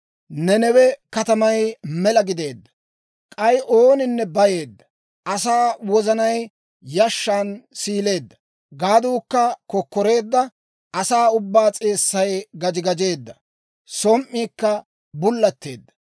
Nanawe katamay mela gideedda; k'ay oniide bayeedda! Asaa wozanay yashshan siileedda; gaaduukka kokkoreedda; asaa ubbaa s'eessay gaji gajeedda; som"iikka bullatteedda!